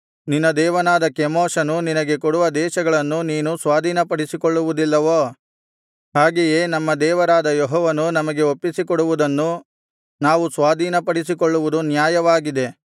ನಿನ್ನ ದೇವನಾದ ಕೆಮೋಷನು ನಿನಗೆ ಕೊಡುವ ದೇಶಗಳನ್ನು ನೀನು ಸ್ವಾಧೀನಪಡಿಸಿಕೊಳ್ಳುವುದಿಲ್ಲವೋ ಹಾಗೆಯೇ ನಮ್ಮ ದೇವರಾದ ಯೆಹೋವನು ನಮಗೆ ಒಪ್ಪಿಸಿಕೊಡುವುದನ್ನು ನಾವು ಸ್ವಾಧೀನಪಡಿಸಿಕೊಳ್ಳುವುದು ನ್ಯಾಯವಾಗಿದೆ